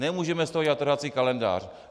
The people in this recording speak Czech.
Nemůžeme z toho dělat trhací kalendář.